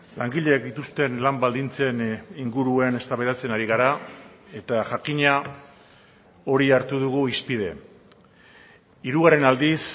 langileek dituzten lan baldintzen inguruan eztabaidatzen ari gara eta jakina hori hartu dugu hizpide hirugarren aldiz